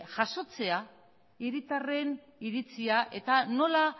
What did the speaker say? jasotzea hiritarren iritzia eta nola